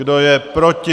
Kdo je proti?